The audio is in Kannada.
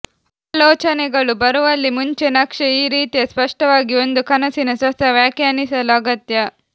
ಆಲೋಚನೆಗಳು ಬರುವಲ್ಲಿ ಮುಂಚೆ ನಕ್ಷೆ ಈ ರೀತಿಯ ಸ್ಪಷ್ಟವಾಗಿ ಒಂದು ಕನಸಿನ ಸ್ವತಃ ವ್ಯಾಖ್ಯಾನಿಸಲು ಅಗತ್ಯ